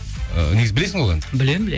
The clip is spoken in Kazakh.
ыыы негізі білесің ғой ол әнді білемін